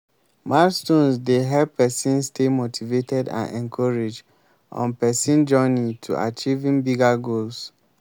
milestones dey help pesin stay motivated and encouraged on pesin journey to achieving bigger goals.